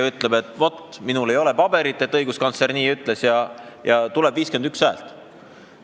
Igaüks meist võib öelda, et minul ei ole paberit, kus õiguskantsler nii ütles, ja tulebki 51 häält.